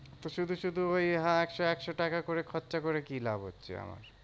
তো শুধু শুধু ওই হা একশো একশো টাকা করে খরচা করে কি লাভ হচ্ছে আমার?